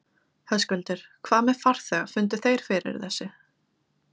Höskuldur: Hvað með farþega, fundu þeir fyrir þessu?